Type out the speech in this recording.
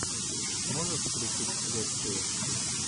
можешь включить лекцию